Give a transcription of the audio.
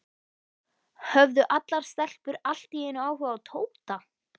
Höfðu allar stelpur allt í einu áhuga á Tóta?